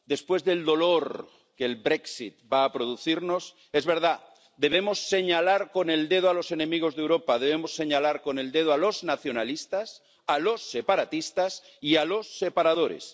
Después del dolor que el Brexit va a producirnos, es verdad, debemos señalar con el dedo a los enemigos de Europa, debemos señalar con el dedo a los nacionalistas, a los separatistas y a los separadores.